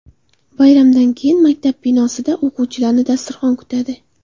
Bayramdan keyin maktab binosida o‘quvchilarni dasturxon kutadi.